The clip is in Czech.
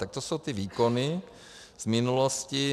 Tak to jsou ty výkony v minulosti.